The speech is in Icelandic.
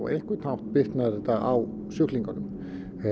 á einhvern hátt bitnar þetta á sjúklingunum